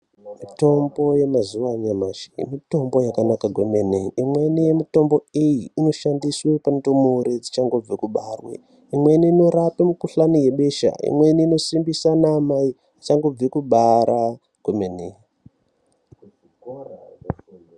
Mitombo yemazuva anyamashi mitombo yakanaka kwemene. Imweni yemitombo iyi inoshandiswe kundumure dzichangobve kubarwe. Imweni inorape mikuhlani yebesha. Imweni inosimbise mamai achangobve kubara kwemene.